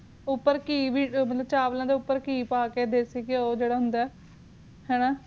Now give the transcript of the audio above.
ਉਪਰ ਕੀ ਵੀ ਚਾਵਲਾ ਦੇ ਉਪ੍ਪੇਰ ਕੀ ਆ ਕੇ ਦੇਸੀ ਕਿਉ ਜੇਰਾ ਹੰਦਾ ਹਾਨਾ ਕਿਉ ਆ ਕ ਖਯਾ ਗੰਦਾ ਜੇਰਾ